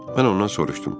Mən ondan soruşdum.